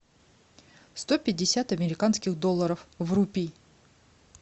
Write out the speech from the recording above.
сто пятьдесят американских долларов в рупии